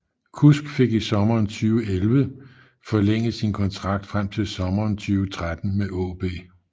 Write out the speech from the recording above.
Kusk fik i sommeren 2011 forlænget sin kontrakt frem til sommeren 2013 med AaB